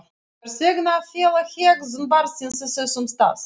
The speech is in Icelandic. Hvers vegna að fela hegðun barnsins á þessum stað?